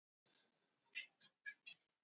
Sesar